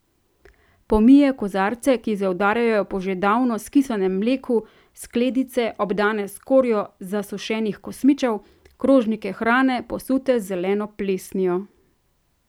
Pomije kozarce, ki zaudarjajo po že davno skisanem mleku, skledice, obdane s skorjo zasušenih kosmičev, krožnike hrane, posute z zeleno plesnijo.